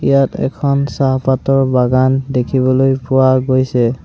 এয়াত এখন চাহপাতৰ বাগান দেখিবলৈ পোৱা গৈছে।